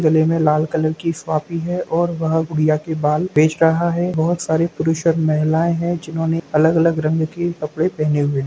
गले में लाल कलर की सुआंपी है और वह गुड़िया के बाल बेच रहा है बहोत सारे पुरुष और महिलाएं है जिन्होंने अलग-अलग रंग के कपड़े पहने हुए हैं।